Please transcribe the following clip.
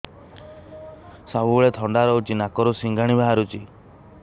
ସବୁବେଳେ ଥଣ୍ଡା ରହୁଛି ନାକରୁ ସିଙ୍ଗାଣି ବାହାରୁଚି